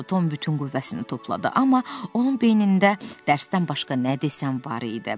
Tom bütün qüvvəsini topladı, amma onun beynində dərsdən başqa nə desən var idi.